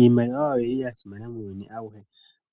Iimaliwa oyo yili ya simana muuyuni awuhe